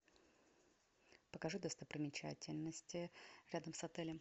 покажи достопримечательности рядом с отелем